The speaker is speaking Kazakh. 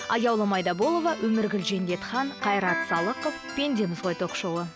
аяулым айдаболова өміргүл жендетхан қайрат салықов пендеміз ғой ток шоуы